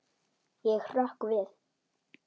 Ég hrökk við.